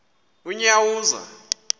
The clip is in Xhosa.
unyawuza